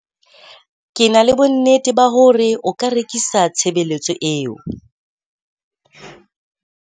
Ke na le bonnete ba hore o ka rekisa tshebeletso eo.